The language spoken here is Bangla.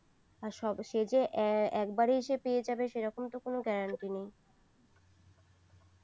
আর সব সে যে একবারে সে পেয়ে যাবে সেরম তো কোনো guarantee নেই